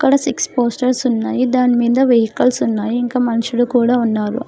ఇక్కడ six posters ఉన్నాయి దాని మీద వెహికల్స్ ఉన్నాయి ఇంకా మనుషులు కూడా ఉన్నారు.